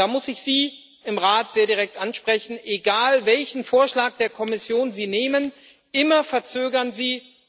Und da muss ich Sie im Rat sehr direkt ansprechen Egal welchen Vorschlag der Kommission Sie nehmen immer verzögern Sie!